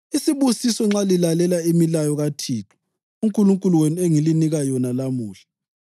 isibusiso nxa lilalela imilayo kaThixo uNkulunkulu wenu engilinika yona lamuhla;